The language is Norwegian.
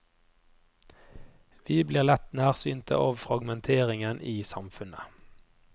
Vi blir lett nærsynte av fragmenteringen i samfunnet.